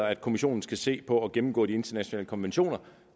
at kommissionen skal se på at gennemgå de internationale konventioner